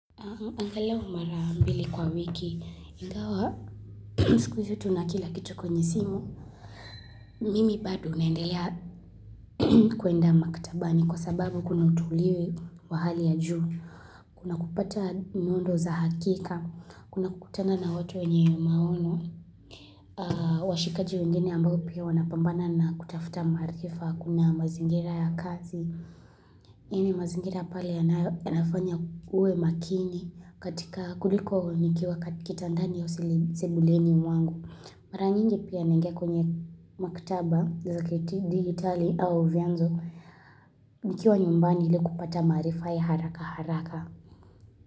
Angalau mara mbili kwa wiki, ingawa, sikuizi tuna kila kitu kwenye simu, mimi bado naendelea kuenda maktabani kwa sababu kuna utuliwe wa hali ya juu, kuna kupata miundo za hakika, kuna kukutana na watu wenye maono, washikaji wengine ambao pia wanapambana na kutafuta maarifa, kuna mazingira ya kazi, hii ni mazingira pale yanafanya uwe makini kuliko nikiwa kitandani au sebuleni mwangu. Mara nyingi pia naingia kwenye maktaba, za kidigitali au vianzo, nikiwa nyumbani ili kupata maarifa ya haraka haraka.